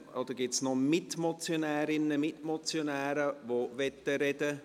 Oder gibt es noch Mitmotionärinnen, Mitmotionäre, die sprechen möchten?